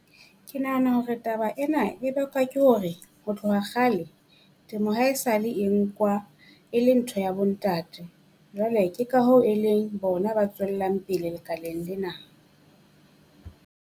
Ke nahana hore taba ena e bakwa ke hore, ho tloha kgale temo ha e sa le e nkwa e le ntho ya bo ntate. Jwale ke ka hoo e leng bona ba tswellang pele lekaleng lena.